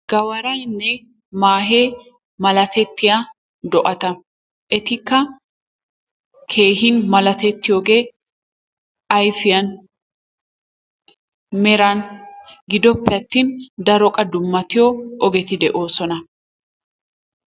Gawaraynne maahe malatettiya do'ata, etikka keehin malatettiyogee ayfiyan, meran, giddoppe attin daro qa dummatiyo ogeti de'oosona.